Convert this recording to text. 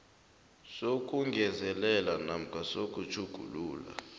sokungezelela namkha sokutjhugulula